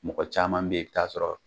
Mɔgɔ caman be yen i bi taa sɔrɔ